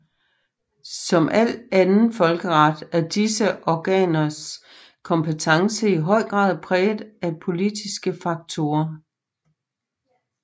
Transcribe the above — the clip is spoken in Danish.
Som al anden folkeret er disse organers kompetence i høj grad præget af politiske faktorer